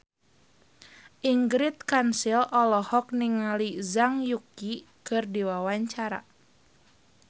Ingrid Kansil olohok ningali Zhang Yuqi keur diwawancara